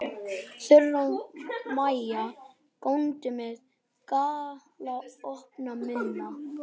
Þura og Maja góndu með galopna munna.